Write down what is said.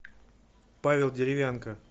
павел деревянко